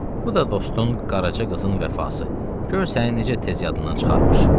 Bu da dostun Qaraca qızın vəfası, gör səni necə tez yadından çıxarmış.